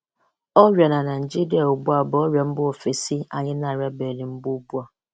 Ọrịa na Naijiria ugbu a bụ ọrịa mba ofesi anyị na-arịabeghị mbụ ugbu a.